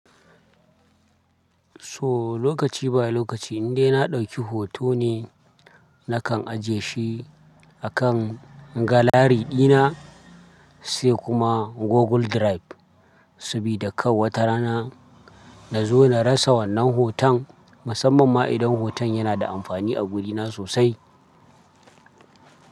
So lokaci by lokaci, indai na ɗauki hoto ne, nakan ajiye shi a kan galari dina sai kuma Google Drive. Sabida kar wata rana na zo na rasa wannan hoton, musamman ma idan hoton yana da amfani a gudina sosai.